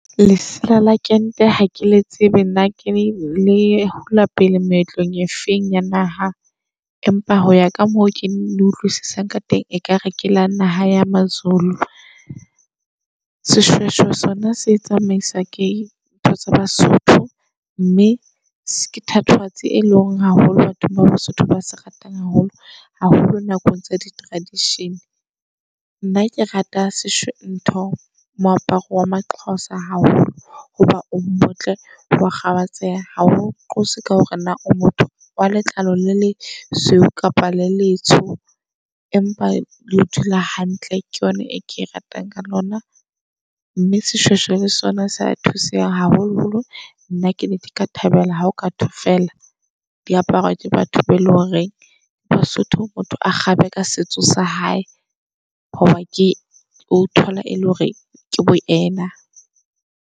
Lesela le kente hakele tsebe nna ke le hula pele meetlong efeng ya naha. Empa hoya ka moo ke utlwisisang ka teng ekare ke la naha ya maZulu. Seshweshwe sona se tsamaiswa ke ntho sa baSotho mme ke thatohatsi e leng haholo batho ba baSotho ba se ratang haholo haholo nakong tsa di-tradition. Nna ke rata seshwe ntho moaparo wa maXhoza haholo. Hoba o motle wa kgabatseha hao qose ka hore na o motho wa letlalo la lesweu kapa le letsoho. Empa leo o dula hantle ke yona e ke ratang ka lona. Mme seshweshwe le sona sea thusa haholo holo nna ke nna ne ke ka thabela hao kathwe fela diaparo tsa batho be e leng hore baSotho. Motho a kgabe ka setso sa hae, hoba ke o thola e le hore ke boyena.